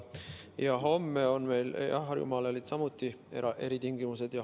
Jah, Harjumaal olid samuti eritingimused.